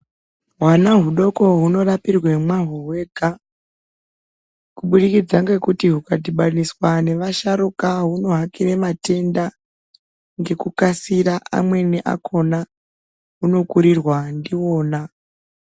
Hwana hudoko hunorapirwa mwahwo hwega kubudikidza nekuti hwukadhibhaniswa nevasharuka hwunohakira matenda ngekukasira amweni akona hwunokurirwa ndiwona